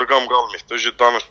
Qabırğam qalmayıb da.